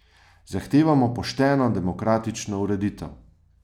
Zahtevamo pošteno demokratično ureditev!